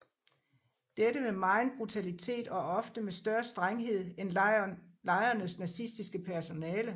Dette med megen brutalitet og ofte med større strenghed end lejrenes nazistiske personale